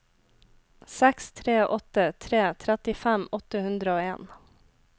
seks tre åtte tre trettifem åtte hundre og en